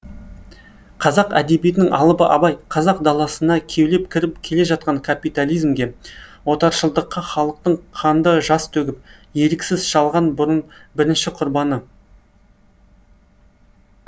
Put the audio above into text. қазақ әдебиетінің алыбы абай қазақ даласына кеулеп кіріп келе жатқан капитализмге отаршылдыққа халықтың қанды жас төгіп еріксіз шалған бірінші құрбаны